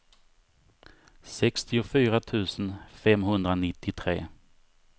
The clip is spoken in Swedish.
sextiofyra tusen femhundranittiotre